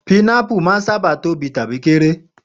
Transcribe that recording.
Pinápù máa ń sábà tóbi tàbí kéré.